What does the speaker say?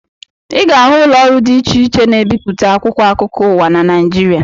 Ị ga-ahụ ụlọọrụ dị iche iche na-ebipụta akwụkwọ akụkọ ụwa na Naịjirịa